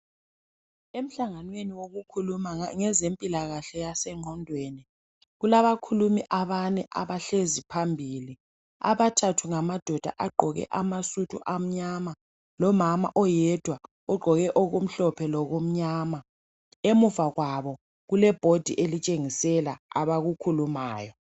Emhlanganweni wezempilakahle yengqondo. Kulezikhulumi ezine, umama munye, labobaba abathathu. Abesilisa bakhona bagqoke amasudu amnyama, lentanjana. Owesintwana ugqoke okumhlophe lokumnyama. Ngemuva kwabo, abakukhulumayo, kubukezwe emgwembeni.